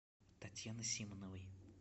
татьяны симоновой